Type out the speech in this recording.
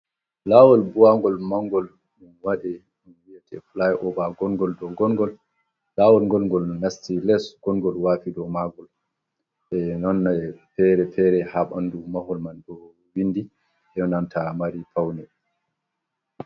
Laawol buwagol manngol waɗe, ɗum wi'ete fulay oova, ngonngol dow ngonngol, laawol ngonngol nasti les, ngonngol waafi dow maagol, be nonne fere fere haa ɓanndu mahol man, ɗo winndi be nanta mari fawne.